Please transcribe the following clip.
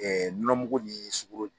nɔnɔmugu ni sugɔro di